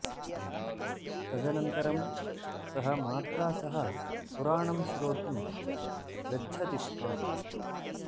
तदनन्तरं सः मात्रा सह पुराणं श्रोतुं गच्छति स्म